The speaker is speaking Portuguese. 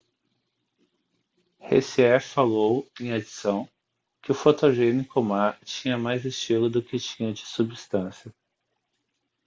hsieh falou em adição que o fotogênico ma tinha mais estilo do que tinha de substância